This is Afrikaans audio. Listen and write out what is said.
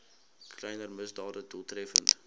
kleiner misdade doeltreffend